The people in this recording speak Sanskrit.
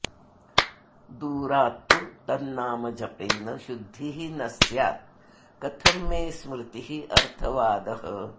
दूरात्तु तन्नामजपेन शुद्धिः न स्यात् कथं मे स्मृतिरर्थवादः